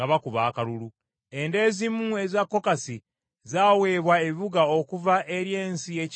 Enda ezimu eza Kokasi zaaweebwa ebibuga okuva eri ensi y’ekika kya Efulayimu.